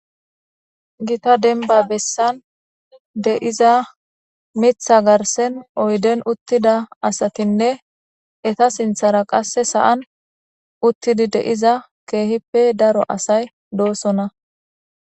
gita denba bessan de7iza mitha garsen oyden uttida asatinne eta sinthara qasse sa7an uttidi de7iza keehippe daro asay doosona